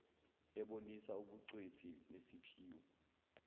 ebonisa ubugcwethi nesiphiwo